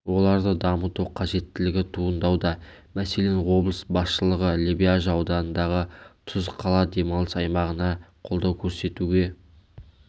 оларды дамыту қажеттілігі туындауда мәселен облыс басшылығы лебяжі ауданындағы тұз қала демалыс аймағына қолдау көрсетуге